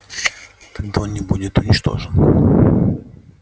тогда он не будет уничтожен